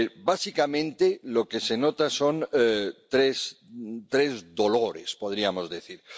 Básicamente, lo que se nota son tres dolores, podríamos decir.